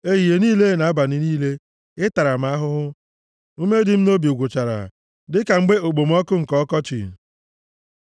Ehihie niile na abalị niile, ị tara m ahụhụ, ume dị m nʼobi gwụchara, dịka mgbe okpomọkụ nke ọkọchị. + 32:4 Mgbe anwụ na-amịkọrọ mmiri dị nʼala Sela